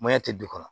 Maɲan tɛ du kɔnɔ